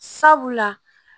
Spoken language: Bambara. Sabula